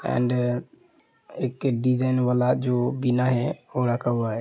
And एक design वाला जो बिना है वो रखा हुआ है।